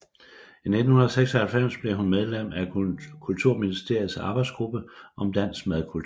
I 1996 blev hun medlem af kulturministerens arbejdsgruppe om dansk madkultur